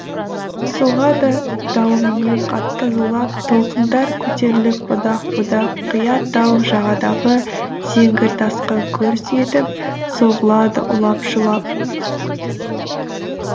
соғады дауылменен қатты зулап толқындар көтеріліп будақ будақ қия тау жағадағы зеңгір тасқа гүрс етіп соғылады улап шулап